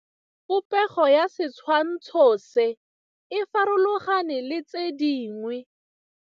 Popêgo ya setshwantshô se, e farologane le tse dingwe.